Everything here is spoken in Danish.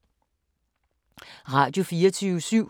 Radio24syv